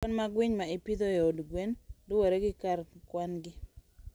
Kwan mag winy ma ipidho e od gweno luwore gi kar kwan-gi.